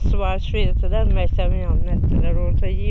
Su içirtdilər, məcbur elədilər məktəbdə yemək yedirdilər.